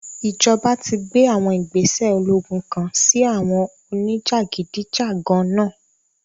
Ijọba ti gbe àwọn igbese ologun kan si àwọn onijagidijagan náa